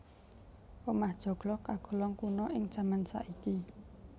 Omah joglo kagolong kuna ing jaman saiki